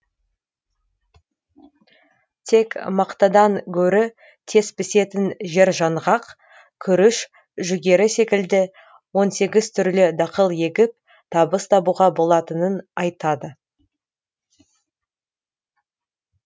тек мақтадан гөрі тез пісетін жержаңғақ күріш жүгері секілді он сегіз түрлі дақыл егіп табыс табуға болатынын айтады